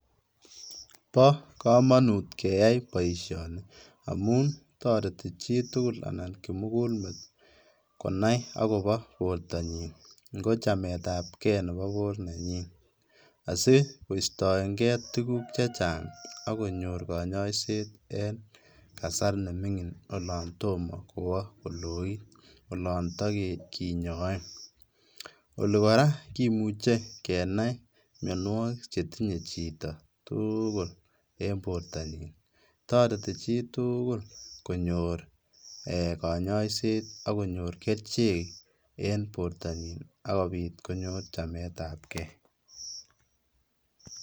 Bokomonut keyai boishoni amun toreti chitukul anan kimukulmet konai akobo bortanyin, ng'ochametabkee neboo bor nenyin asikostoeng'e tukuk chechang akonyor konyoiset en kasar neming'in olon tomoo kwoo koloit olontokinyoee, olii kora kimuche kenai mionwokik chetinye chito tuukul en bortanyin, toreti chitukul konyor eeh konyoisetakonyor kerichek en bortanyin akobit konyor chametabkee.